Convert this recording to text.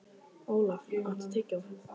Olaf, áttu tyggjó?